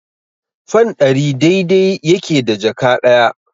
Fan ɗari dai-dai yake da jaka ɗaya.